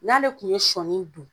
N'ale tun ye sɔɔni don